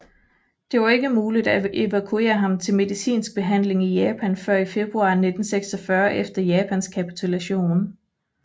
Det var ikke muligt at evakuere ham til medicinsk behandling i Japan før i februar 1946 efter Japans kapitulation